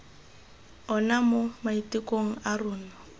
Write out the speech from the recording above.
ona mo maitekong a rona